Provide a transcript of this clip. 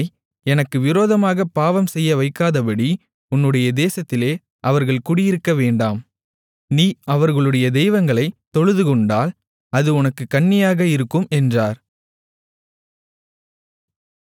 உன்னை எனக்கு விரோதமாகப் பாவம் செய்யவைக்காதபடி உன்னுடைய தேசத்திலே அவர்கள் குடியிருக்கவேண்டாம் நீ அவர்களுடைய தெய்வங்களைத் தொழுதுகொண்டால் அது உனக்குக் கண்ணியாக இருக்கும் என்றார்